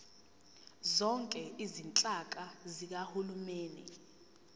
zonke izinhlaka zikahulumeni